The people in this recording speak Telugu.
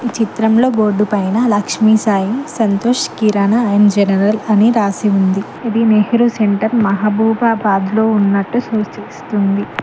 ఈ చిత్రంలో బోర్డు పైన లక్ష్మీ సాయి సంతోష్ కిరణ అండ్ జనరల్ అని రాసి ఉంది అది నెహ్రూ సెంటర్ మహబూబాబాద్ లో ఉన్నట్టు సూచిస్తుంది